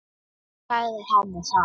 Ég sagði henni það.